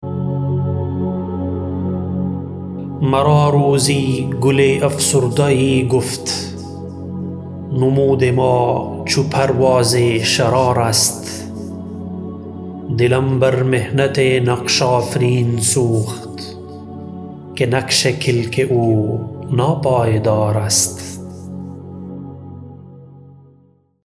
مرا روزی گل افسرده یی گفت نمود ما چو پرواز شرار است دلم بر محنت نقش آفرین سوخت که نقش کلک او ناپایدار است